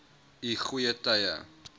u goeie tye